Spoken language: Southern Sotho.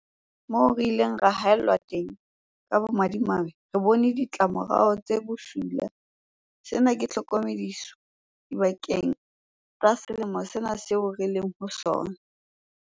Moo re ileng ra haellwa teng, ka bomadimabe, re bone ditlamorao tse bosula. Sena ke tlhokomediso bakeng sa selemo sena seo re leng ho sona.